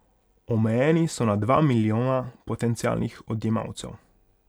Omejeni so na dva milijona potencialnih odjemalcev.